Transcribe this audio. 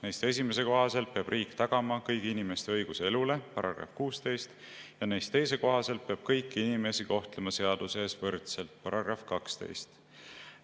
Neist esimese kohaselt peab riik tagama kõigi inimeste õiguse elule, see on § 16, ja teise kohaselt peab kõiki inimesi kohtlema seaduse ees võrdselt, see on § 12.